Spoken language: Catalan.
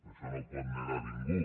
això no ho pot negar ningú